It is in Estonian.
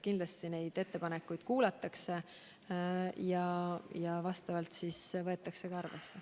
Kindlasti neid ettepanekuid kuulatakse ja võetakse ka arvesse.